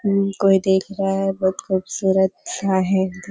कोई देख रहा है बहुत खूबसूरत --